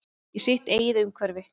Í sitt eigið umhverfi.